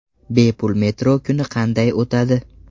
Bepul metro kuni qanday o‘tadi?.